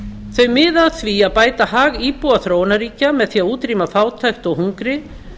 þau miða að því að bæta hag íbúa þróunarríkja með því að útrýma fátækt og hungri